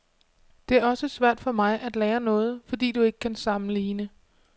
Det er også svært for mig at lære noget, fordi du ikke kan sammenligne.